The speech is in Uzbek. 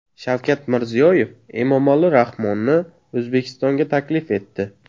Shavkat Mirziyoyev Emomali Rahmonni O‘zbekistonga taklif etdi.